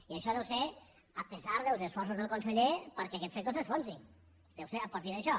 i això és tot i els esforços del conseller perquè aquest sector s’enfonsi deu ser a partir d’això